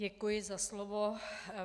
Děkuji za slovo.